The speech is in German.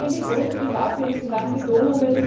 Aber wir sehen die große Gefahr für die gesamte Donau.